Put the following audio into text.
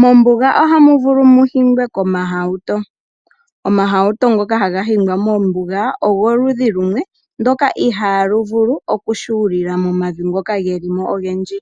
Mombuga ohamu vulu mu higwe omahauto, omauro ngoka haga hingwa mombuga ogoludhi lumwe ngoka ihalu vulu okushuulila momavi ngika geli mo ogendji